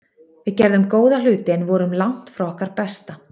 Við gerðum góða hluti en vorum langt frá okkar besta.